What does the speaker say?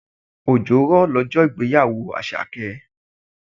Òjò rọ̀ lọ́jọ́ ìgbéyàwó Àṣàkẹ́.